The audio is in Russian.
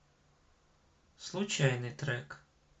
случайный трек